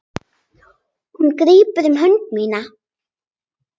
Hún grípur um hönd mína.